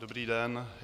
Dobrý den.